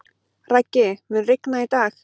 Raggi, mun rigna í dag?